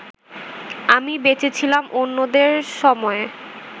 আমি বেঁচে ছিলাম অন্যদের সময়ে